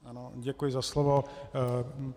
Ano, děkuji za slovo.